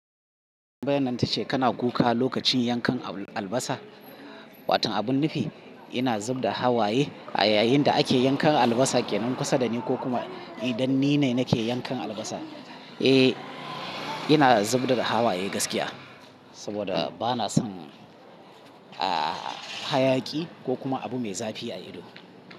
Tambayar nan ta ce kana kuka lokacin yankan albasa. Watan abun nufi, ina zubda hawaye a yayin da ake yankan albasa a ƙanan kusa da ni ko kuma idan ni ne nake yankan albasa. Eh, ina zubda hawaye gaskiya saboda bana son, ah, hayaki ko kuma abu mai zafi a ido.